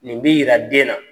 Nin b'i jira den na.